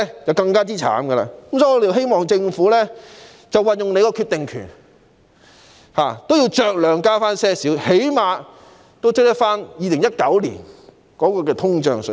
有見及此，我們希望政府運用決定權，酌量增加最低工資，最少要追及2019年的通脹水平。